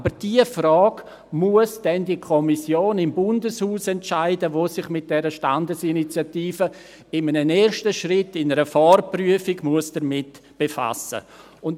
In dieser Frage muss dann aber jene Kommission im Bundeshaus entscheiden, die sich mit der Standesinitiative in einem ersten Schritt, in einer Vorprüfung, befassen muss.